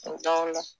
N t'o la